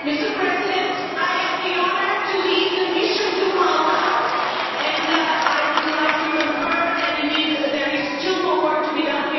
Madam President, I have the honour to lead the mission to Malta and I would like to concur that indeed there is still more work to be done.